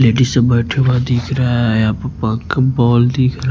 Ladies सब बैठा हुआ दिख रहा है यहां पर दिख रहा है।